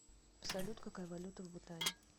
салют какая валюта в бутане